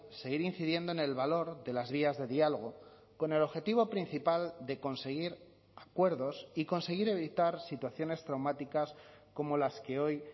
seguir incidiendo en el valor de las vías de diálogo con el objetivo principal de conseguir acuerdos y conseguir evitar situaciones traumáticas como las que hoy